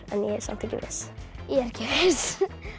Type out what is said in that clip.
samt ekki viss ég er ekki viss